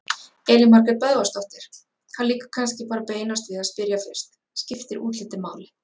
Elín Margrét Böðvarsdóttir: Það liggur kannski bara beinast við að spyrja fyrst: Skiptir útlitið máli?